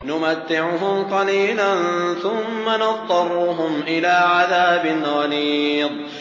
نُمَتِّعُهُمْ قَلِيلًا ثُمَّ نَضْطَرُّهُمْ إِلَىٰ عَذَابٍ غَلِيظٍ